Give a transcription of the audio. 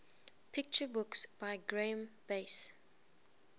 picture books by graeme base